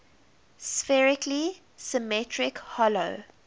spherically symmetric hollow